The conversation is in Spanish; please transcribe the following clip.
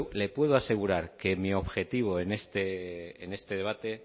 le puedo asegurar que mi objetivo en este debate